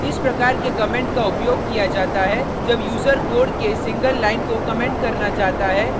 इस प्रकार के कमेंट का उपयोग किया जाता है जब यूजर कोड के सिंगल लाइन को कमेंट करना चाहता है या